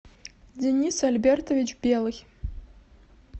денис альбертович белый